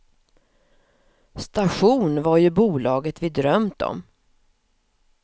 Station var ju bolaget vi drömt om.